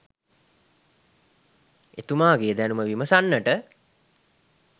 එතුමා ගේ දැනුම විමසන්නට